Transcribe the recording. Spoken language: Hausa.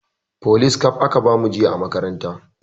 Folis kaf aka bamu jiya a makaranta